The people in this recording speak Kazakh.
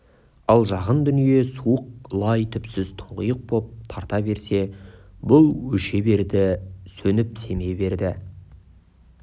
ал жақын дүние суық лай түпсіз тұңғиық боп тарта берсе бұл өше берді сөніп семе берді